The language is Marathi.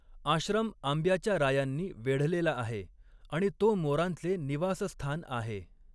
आश्रम आंब्याच्या रायांनी वेढलेला आहे आणि तो मोरांचे निवासस्थान आहे.